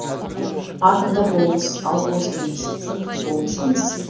атомдар болмыс ал бос кеңістік болмыс емес